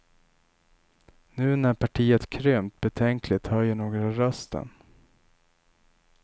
Nu när partiet krympt betänkligt höjer några rösten.